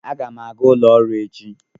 Aga m aga ụlọ ọrụ echi